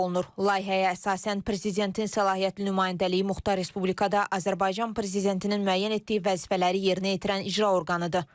Layihəyə əsasən, prezidentin səlahiyyətli nümayəndəliyi Muxtar Respublikada Azərbaycan prezidentinin müəyyən etdiyi vəzifələri yerinə yetirən icra orqanıdır.